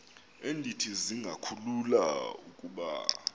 endithi zingakhulula ukuba